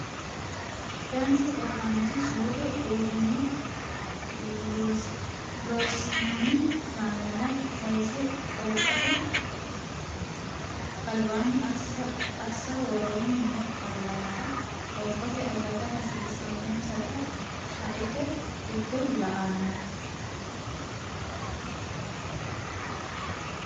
Danchu oofaanchi soodo uurrino Loossinanni kaameela kayise oofate albaanni assa Woroonni noo qaallata qoonqote akatta hasiissannosita shaete giddo la no.